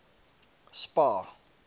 spar